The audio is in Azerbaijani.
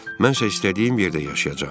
Mənsə istədiyim yerdə yaşayacam.